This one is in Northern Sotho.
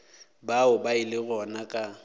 bao ba ilego gona ka